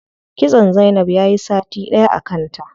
Kitson zainab yayi sati ɗaya a kanta.